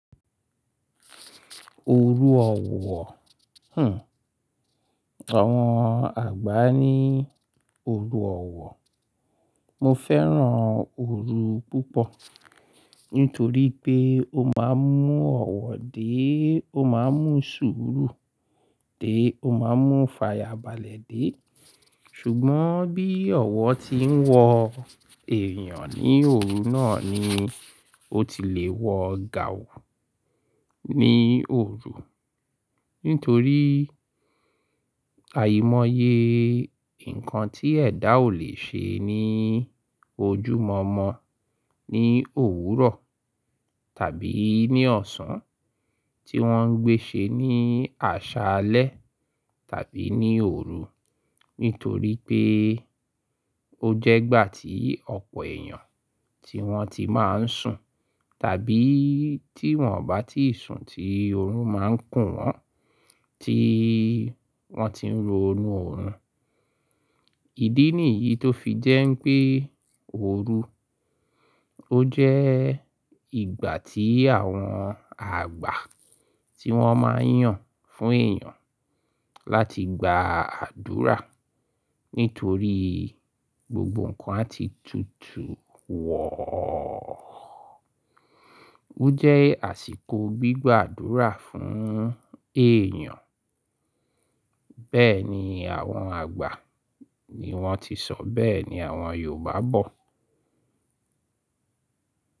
Oru ọ̀wọ̀, hmm. Àwọn àgbà ní oru ọ̀wọ̀. Mo fẹ́ràn oru púpọ̀ nítorí pé ó máa ń mú ọ̀wọ̀ dé, ó máa ń mú sùúrù dé, ó máa ń mú ifàyàbalẹ̀ dé. Ṣùgbọ́n bí ọ̀wọ̀ ti ń wọ èèyàn ní òru náà ni ó ti le wọ gaun ní òru. Nítorí àìmọye nǹkan tí ẹ̀dà ò le ṣe ní ojúmọ̀ọ́mọ ní òwúrọ̀ tàbí ní ọ̀sán, tí wọ́n ń gbé ṣe ní àṣálẹ́ tàbí ní òru. Nítorí pé ó jẹ́ ìgbà tí ọ̀pọ̀ èèyàn tí wọ́n ti máa ń sùn tàbí tí wọ́n ò bá ti sùn tí oorun máa ń kù wọ́n, tí wọ́n ti ń ro inú oorun. Ìdí nìyí tó fi jẹ́ pé òru ó jẹ́ ìgbà tí àwọn àgbà tí wọ́n máa ń yàn fún èèyàn láti gba àdúrà nítorí gbogbo nǹkan á ti tutù wọ̀. Ó jẹ́ àsìkò gbígba àdúrà fún èèyàn. Bẹ́ẹ̀ ni àwọn àgbà ni wọ́n ti sọ, bẹ́ẹ̀ ni àwọn Yorùbá bọ̀